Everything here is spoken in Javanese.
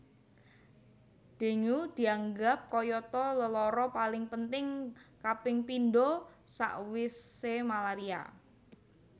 Dengue diaggap kayata lelara paling penting kaping pindho sakwisemalaria